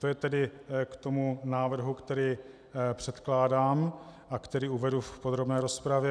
To je tedy k tomu návrhu, který předkládám a který uvedu v podrobné rozpravě.